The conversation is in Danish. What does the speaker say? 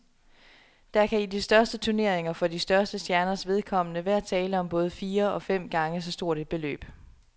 Der kan i de største turneringer for de største stjerners vedkommende være tale om både fire og fem gange så stort et beløb.